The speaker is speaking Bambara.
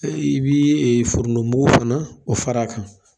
i bɛ foronto mugu fana o fara a kan